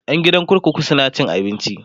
ƴan gidan kurkuku suna cin abinci